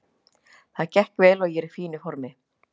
Það gekk vel og ég er í fínu formi.